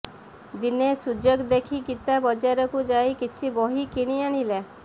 ଦିନେ ସୁଯୋଗ ଦେଖି ଗୀତା ବଜାରକୁ ଯାଇ କିଛି ବହି କିଣି ଆଣିଲା